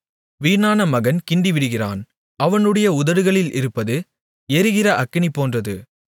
வீணான மகன் கிண்டிவிடுகிறான் அவனுடைய உதடுகளில் இருப்பது எரிகிற அக்கினிபோன்றது